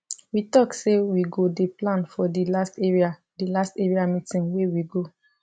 we talk say we go dey plan for the last area the last area meeting wey we go